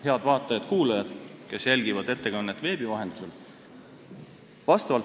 Head vaatajad-kuulajad, kes jälgivad ettekannet veebi vahendusel!